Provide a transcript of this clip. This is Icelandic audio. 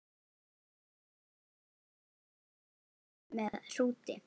Efst er hjálmur með hrúti.